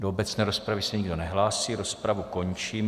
Do obecné rozpravy se nikdo nehlásí, rozpravu končím.